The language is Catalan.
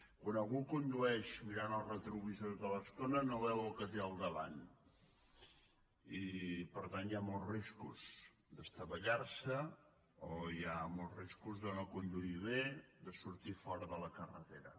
quan algú condueix mirant el retrovisor tota l’estona no veu el que té al davant i per tant hi ha molts riscos d’estavellar·se o hi ha molts riscos de no conduir bé de sortir fora de la carretera